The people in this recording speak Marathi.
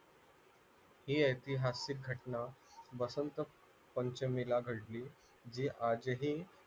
ही ऐतिहासिक घटना वसंत पंचमीला घडली जी आजही